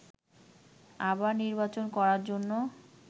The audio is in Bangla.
আবার নির্বাচন করার জন্য